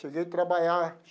Cheguei a trabalhar.